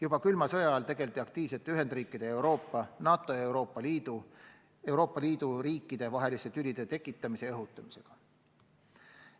Juba külma sõja ajal tegeldi aktiivselt Ühendriikide ja Euroopa, NATO ja Euroopa Liidu ning Euroopa Liidu riikide vaheliste tülide tekitamise ja õhutamisega.